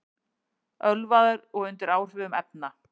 Ölvaður og undir áhrifum efna